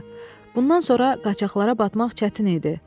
Bundan sonra qaçaqlara batmaq çətin idi.